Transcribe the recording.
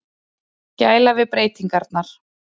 Gæla við breytingarnar.